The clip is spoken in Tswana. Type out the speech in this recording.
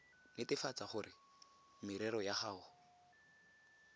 netefatsa gore merero ya gago